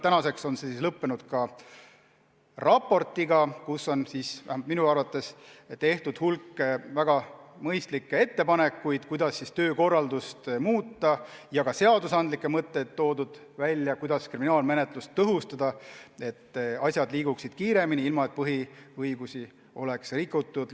Tänaseks on see lõppenud raportiga, kus on tehtud minu arvates hulk väga mõistlikke ettepanekuid, kuidas töökorraldust muuta, ja toodud ka välja, kuidas seadusandlikult kriminaalmenetlust tõhustada, et asjad liiguksid kiiremini, ilma et põhiõigusi oleks rikutud.